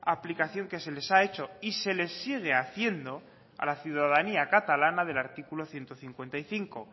aplicación que se les ha hecho y se les sigue haciendo a la ciudadanía catalana del artículo ciento cincuenta y cinco